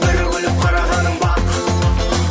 бір күліп қарағанын бақ